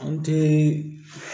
An tɛ